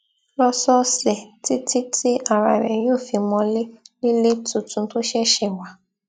lósòòsè títí tí ara rẹ yóò fi mọlé nílé tuntun tó ṣẹṣẹ wà